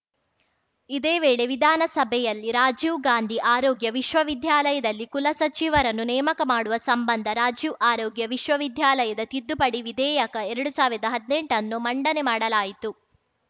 ಇದೇ ವೇಳೆ ವಿಧಾನಸಭೆಯಲ್ಲಿ ರಾಜೀವ್‌ ಗಾಂಧಿ ಆರೋಗ್ಯ ವಿಶ್ವವಿದ್ಯಾಲಯದಲ್ಲಿ ಕುಲಸಚಿವರನ್ನು ನೇಮಕ ಮಾಡುವ ಸಂಬಂಧ ರಾಜೀವ್‌ ಆರೋಗ್ಯ ವಿಶ್ವವಿದ್ಯಾಲಯದ ತಿದ್ದುಪಡಿ ವಿಧೇಯಕ ಎರಡು ಸಾವಿರದಾ ಹದ್ನೆಂಟನ್ನು ಮಂಡನೆ ಮಾಡಲಾಯಿತು